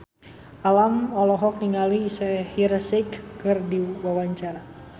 Alam olohok ningali Shaheer Sheikh keur diwawancara